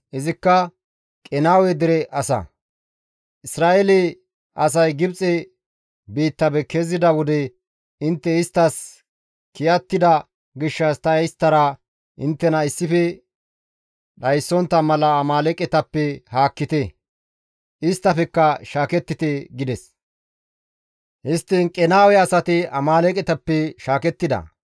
Izikka Qenaawe dere asaa, «Isra7eele asay Gibxe biittafe kezida wode intte isttas kiyattida gishshas ta isttara inttena issife dhayssontta mala Amaaleeqetappe haakkite; isttafekka shaakettite» gides. Histtiin Qenaawe asati Amaaleeqetappe shaakettida.